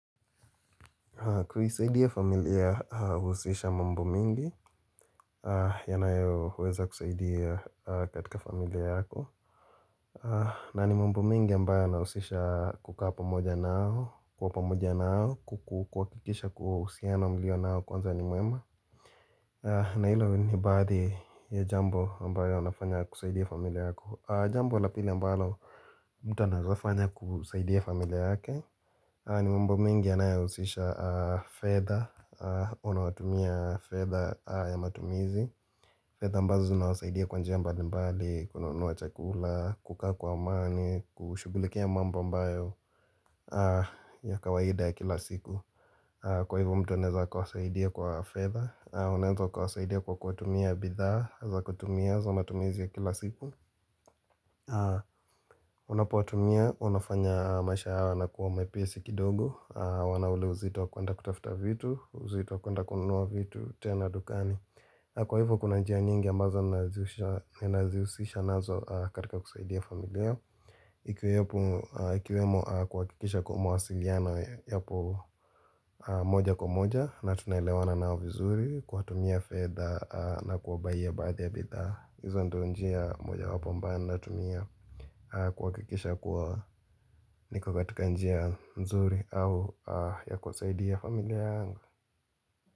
Familia huhusisha mambo mingi yanayoweza kusaidia katika familia yako na ni mambo mengi ambayo yanahusisha kukaa pamoja nao kuwa pamoja nao kukuhakikisha kuwa uhusiano mlio nao kwanza ni mwema na hilo ni baadhi ya jambo ambayo yanafanya kusaidia familia yako jambo la pili ambayo mtu anaezafanya kusaidia familia yake ni mambo mengi yanayohusisha fedha Unawatumia fedha ya matumizi fedha ambazo zinawasaidia kwa njia mbali mbali kununua chakula, kukaa kwa maani, kushughulikia mambo ambayo ya kawaida ya kila siku Kwa hivo mtu anaeza kuwasaidia kwa fedha Unaeza ukawasaidia kwa kutumia bidhaa za kutumia za matumizi ya kila siku Unapowatumia, unafanya maisha yanakuwa mepesi kidogo hawana ule uzito kuenda kutafuta vitu uzito kuenda kununua vitu tena dukani na Kwa hivo kuna njia nyingi ambazo Ninazihusisha nazo katika kusaidia familia Ikiwemo kuhakikisha kuwa mawasiliano yapo moja kwa moja na tunlewana nao vizuri Kuwatumia fedha na kuwabayia baadhi ya bidhaa hizo ndio njia mojawapo ambayo natumia kuhakikisha kuwa niko katika njia mzuri au ya kuwasaidia familia yangu.